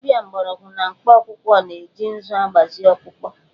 Dibia mgbọrọgwụ na mkpakwụkwọ na-eji ǹzú agbazị ọkpụkpọ